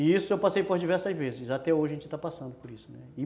E isso eu passei por diversas vezes, até hoje a gente está passando por isso, né?